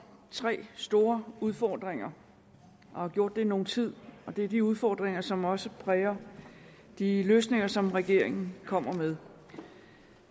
tre store udfordringer og har gjort det i nogen tid det er de udfordringer som også præger de løsninger som regeringen kommer med